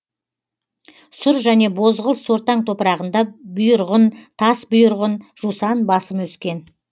сұр және бозғылт сортаң топырағында бұйырғын тасбұйырғын жусан басым өскен